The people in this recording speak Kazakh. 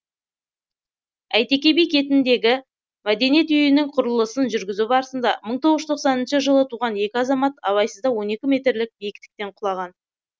әйтеке би кетіндегі мәдениет үйінің құрылысын жүргізу барысында мың тоғыз жүз тоқсаныншы жылы туған екі азамат абайсызда он екі метрлік биіктіктен құлаған